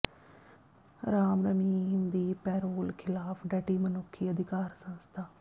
ਰਾਮ ਰਹੀਮ ਦੀ ਪੈਰੋਲ ਖ਼ਿਲਾਫ਼ ਡਟੀ ਮਨੁੱਖੀ ਅਧਿਕਾਰ ਸੰਸਥਾ